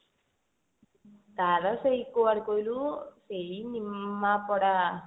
ତାର ସେଇ କୁଆଡେ କଇଲୁ ସେଇ ନିମାପଡା